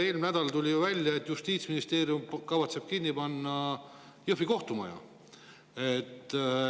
Eelmine nädal tuli veel välja, et Justiitsministeerium kavatseb kinni panna Jõhvi kohtumaja.